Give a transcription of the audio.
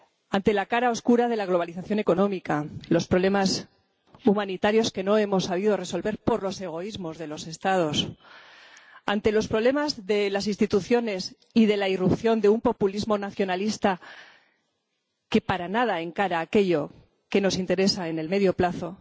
Ante la cara oscura de la globalización económica, los problemas humanitarios que no hemos sabido resolver por los egoísmos de los Estados, ante los problemas de las instituciones y de la irrupción de un populismo nacionalista, que para nada encara aquello que nos interesa en el medio plazo,